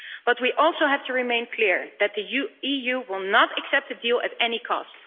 But we also have to remain clear that the EU will not accept a deal at any cost.